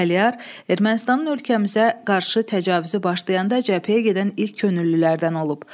Əliyar Ermənistanın ölkəmizə qarşı təcavüzü başlayanda cəbhəyə gedən ilk könüllülərdən olub.